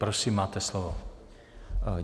Prosím, máte slovo.